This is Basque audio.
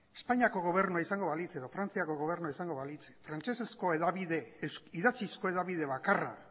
espainiako gobernua izango balitz edo frantziako gobernua izango balitz frantsesezko idatzizko hedabide bakarra